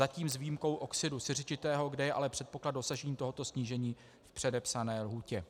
Zatím s výjimkou oxidu siřičitého, kde je ale předpoklad dosažení tohoto snížení v předepsané lhůtě.